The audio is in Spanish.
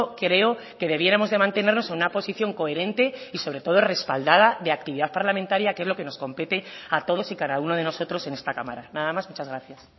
creo que debiéramos de mantenernos en una posición coherente y sobre todo respaldada de actividad parlamentaria que es lo que nos compete a todos y cada uno de nosotros en esta cámara nada más muchas gracias